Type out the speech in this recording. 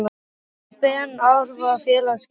Fær Ben Arfa félagaskipti?